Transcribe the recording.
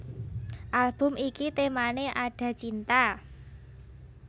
Album iki temané Ada Cinta